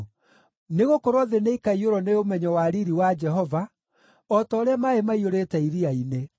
Nĩgũkorwo thĩ nĩĩkaiyũrwo nĩ ũmenyo wa riiri wa Jehova, o ta ũrĩa maaĩ maiyũrĩte iria-inĩ.